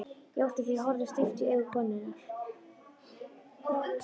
Ég játti því, horfði stíft í augu konunnar.